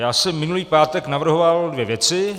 Já jsem minulý pátek navrhoval dvě věci.